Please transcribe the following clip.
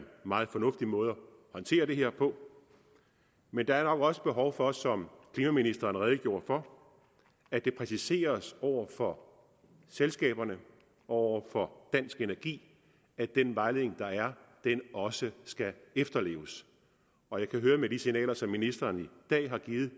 meget fornuftig måde at håndtere det her på men der er nok også behov for som klimaministeren redegjorde for at det præciseres over for selskaberne og over for dansk energi at den vejledning der er også skal efterleves og med de signaler som ministeren i dag har givet